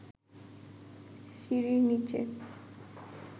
সিঁড়ির নিচে